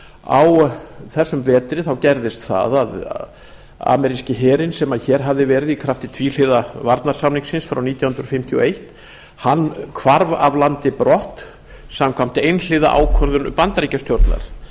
á þessum vetri gerðist það að ameríski herinn sem hér hafði verið i krafti tvíhliða varnarsamningsins frá nítján hundruð sextíu og eitt hvarf af landi brott samkvæmt einhliða ákvörðun bandaríkjastjórnar það